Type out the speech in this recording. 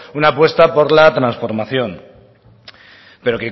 una apuesta por la transformación pero